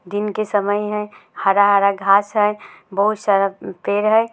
दिन के समय है हरा-हरा घास है बहुत सारा उम्म पेड़ है।